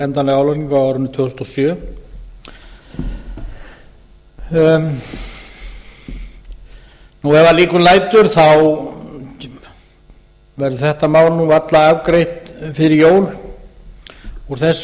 endanlega álagningu á árinu tvö þúsund og sjö ef að líkum lætur verður þetta mál nú varla afgreitt fyrir jól úr þessu